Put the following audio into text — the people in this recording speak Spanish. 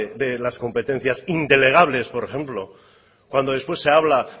de las competencias indelegables por ejemplo cuando después se habla